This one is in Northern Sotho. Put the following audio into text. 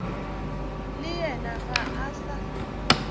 le yena ga a sa